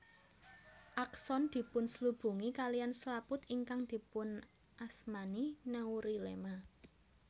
Akson dipunslubungi kaliyan slaput ingkang dipunasmani neurilema